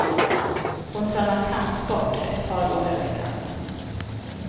Hon tränar kampsport ett par gånger i veckan.